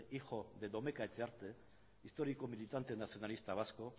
hijo de domeka etxearte histórico militante nacionalista vasco